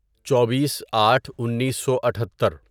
چوبیس آٹھ انیسو اٹھتر